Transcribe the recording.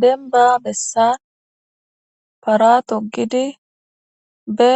benba bessan para togidi be